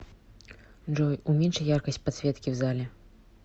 джой уменьши яркость подсветки в зале